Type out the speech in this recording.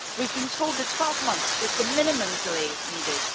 We have been told that 12 months was the minimum delay needed.